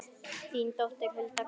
Þín dóttir, Hulda Karen.